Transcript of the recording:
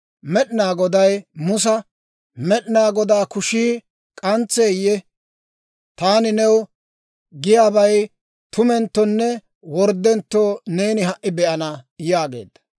Med'inaa Goday Musa, «Med'inaa Godaa kushii k'antseeyye? Taani new giyaabay tumenttonne worddentto neeni ha"i be'ana» yaageedda.